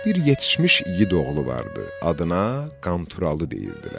Bir yetişmiş igid oğlu vardı, adına Qanturalı deyirdilər.